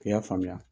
K'i y'a faamuya